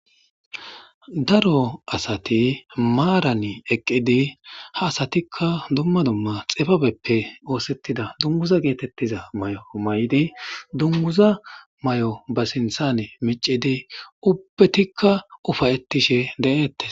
Daro asati maaran eqqidi hasatikka dumma dumma xibebeppe oothettida dungguza geetettiza mayo mayidi dungguza mayo ba sinthan miccidi ubbetikka ufayettishe deettes.